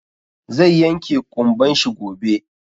Zai yanke ƙumban shi gobe.